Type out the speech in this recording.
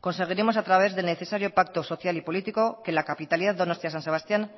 conseguiremos a través del necesario pacto social y político que la capitalidad donostia san sebastián